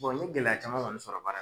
n ye gɛlɛya caman kɔni sɔrɔ ba